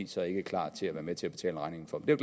så ikke klar til at være med til at betale regningen for men